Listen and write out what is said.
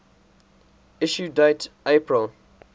issue date april